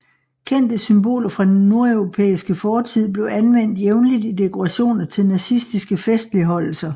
Kendte symboler fra den nordeuropæiske fortid blev anvendt jævnligt i dekorationer til nazistiske festligholdelser